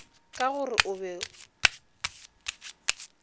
ka go re o be